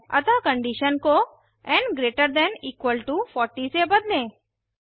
अतः कंडीशन को n gt 40 से बदलें